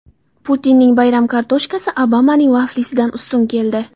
Putinning bayram kartoshkasi Obamaning vaflisidan ustun keldi.